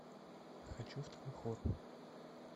хочу второй хор